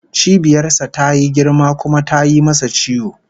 Cibiyar sa tayi girma kuma tayi masa ciwo